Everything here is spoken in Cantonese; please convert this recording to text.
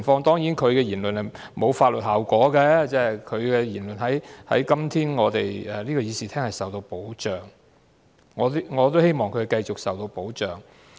當然，他的言論沒有法律後果，因為今天議員的言論在這個議事廳內是受到保障的——我也希望他的言論會繼續受到保障。